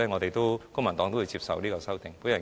因此，公民黨會接受這些修訂。